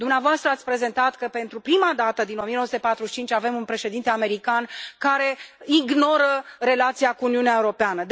Dumneavoastră ați prezentat că, pentru prima dată din 1945, avem un președinte american care ignoră relația cu Uniunea Europeană.